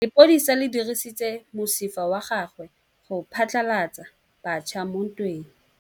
Lepodisa le dirisitse mosifa wa gagwe go phatlalatsa batšha mo ntweng.